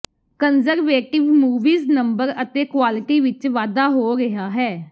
conservative movies number ਅਤੇ quality ਵਿਚ ਵਾਧਾ ਹੋ ਰਿਹਾ ਹੈ